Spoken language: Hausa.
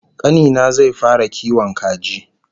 Kani na zai fara kiwon kaji